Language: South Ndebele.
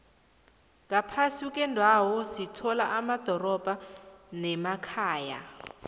ngaphasi kwendawo sithola amadorobha nemakhaya